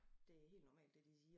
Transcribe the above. Det helt normalt det de siger